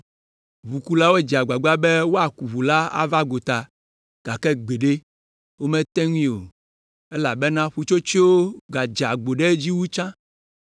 Ʋukulawo dze agbagba be woaku ʋu la ava gota, gake gbeɖe; womete ŋui o, elabena ƒutsotsoeawo gadze agbo ɖe edzi wu tsã.